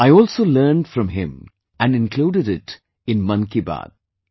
I also learned from him and included it in 'Mann Ki Baat'